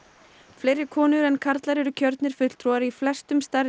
fleiri konur en karlar eru kjörnir fulltrúar í flestum stærri